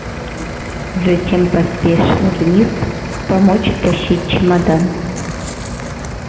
затем поспешил вниз помочь тащить чемодан